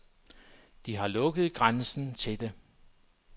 De har lukket grænsen til det.